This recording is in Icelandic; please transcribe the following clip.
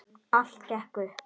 Allt gekk upp.